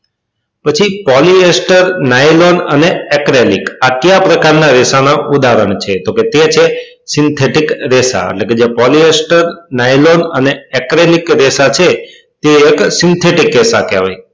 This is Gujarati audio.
પછી polyester nylon અને acryilic આ કયા પ્રકાર ના રેશા ના ઉદાહરણ છે તો કે તે છે synthetic રેશા એટલે કે જે polyester nylon અને acryilic તે એક synthetic રેશા કહેવાય